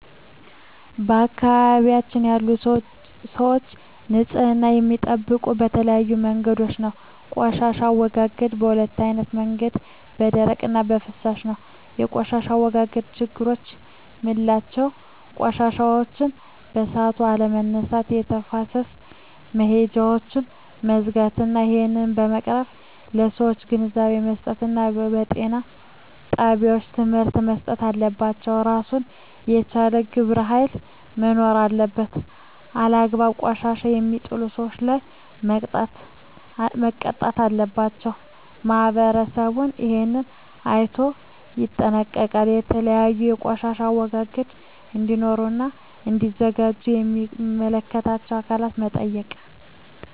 በአካባቢያችን ያሉ ሰዎች ንፅህና የሚጠብቁ በተለያዩ መንገዶች ነው ቆሻሻ አወጋገዳቸዉ በ2አይነት መንገድ ነው በደረቅ እና በፍሳሽ ነው በቆሻሻ አወጋገድ ችግሮች ምላቸው ቆሻሻዎችን በሠአቱ አለመነሳት የተፋሰስ መሄጃውች መዝጋት ናቸው እሄን ለመቅረፍ ለሠዎች ግንዛቤ መስጠት እና ጤና ጣቤዎች ትምህርቶች መሰጠት አለባቸው እራሱን የቻለ ግብረ ሀይል መኖር አለበት አላግባብ ቆሻሻ የሜጥሉ ሠዎች ላይ መቅጣት አለባቸው ማህበረሠቡ እሄን አይነቶ ይጠነቀቃሉ የተለያዩ ቆሻሻ ማስወገጃ እዴኖሩ እና እዲዘጋጁ ሚመለከታቸው አካላት መጠየቅ